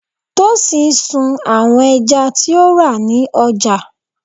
Tosin sun àwọn ẹja tí ó rà ní ọjà.